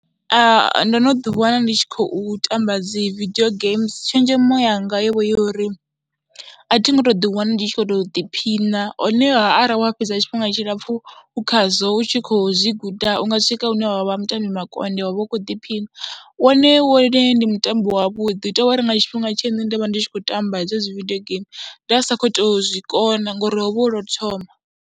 Ndo no ḓiwana ndi tshi khou tamba dzi vidio games, tshenzhemo yanga yo uri a thi ngo tou ḓiwana ndi tshi khou tou ḓiphina, honeha arali wa fhedza tshifhinga tshilapfhu khazwo u tshi khou zwi guda u nga swika hune wa vha mutambi makonde wa vha u khou ḓiphina. Wone wone ndi mutambo wavhuḓi, hu tou vha uri nga tshifhinga tshe nṋe nda vha ndi tshi khou tamba hedzo dzi video geimii nda sa khou tou zwi kona ngori ho vha hu lo u thoma.